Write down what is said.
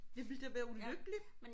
Jeg ville da være ulykkelig